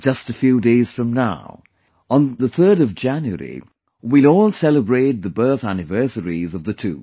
Just a few days from now, on January 3, we will all celebrate the birth anniversaries of the two